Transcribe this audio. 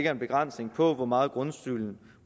en begrænsning for hvor meget grundskylden